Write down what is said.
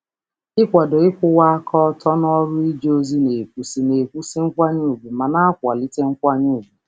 Ịkwado eziokwu n’ọrụ ozi na-ewusi ugwu ike ma na-akwalite nkwanye ùgwù n’otu n’otu.